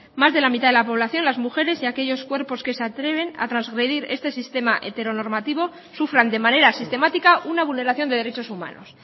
más de la mitad de la población de las mujeres y aquellos cuerpos que se atreven a trasgredir este sistema heteronormativo sufran de manera sistemática una vulneración de derechos humanos